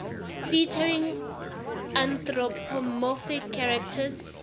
featuring anthropomorphic characters